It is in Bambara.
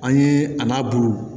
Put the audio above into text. An ye a n'a bulu